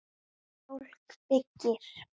Fólk byggir.